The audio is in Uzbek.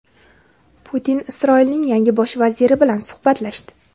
Putin Isroilning yangi Bosh vaziri bilan suhbatlashdi.